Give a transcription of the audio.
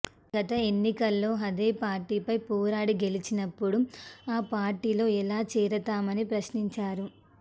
గత ఎన్నికల్లో అదే పార్టీపై పోరాడి గెలిచినప్పుడు ఆ పార్టీలో ఎలా చేరతామని ప్రశ్నించారు